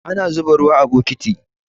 Ana zuba ruwa a bokiti